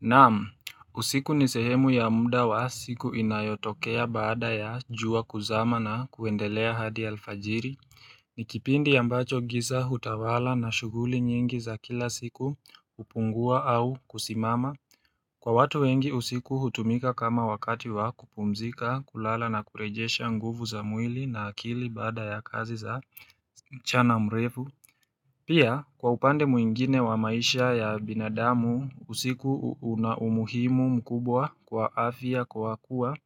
Naam, usiku ni sehemu ya mda wa siku inayotokea baada ya jua kuzama na kuendelea hadi alfajiri ni kipindi ambacho giza hutawala na shughuli nyingi za kila siku hupungua au kusimama. Kwa watu wengi usiku hutumika kama wakati wa kupumzika, kulala na kurejesha nguvu za mwili na akili baada ya kazi za mchana mrefu Pia kwa upande mwingine wa maisha ya binadamu usiku una umuhimu mkubwa kwa afya kwa kuwa